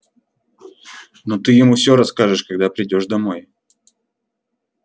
но ты ему всё расскажешь когда придёшь домой